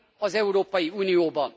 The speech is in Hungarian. az Európai Unióban.